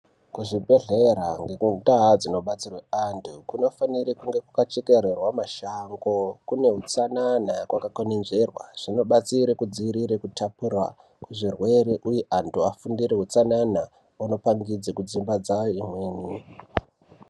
Ku zvibhedhlera nge ndau dzino batsirwe antu kunofanire kwaka chekererwa mashango kune utsanana waka kwenenzverwa zvinobatsire kudzivirire ku tapurirwa kwe zvirwere uye antu vafundire utsanana kunopangidze kudzimba dzawo imweni.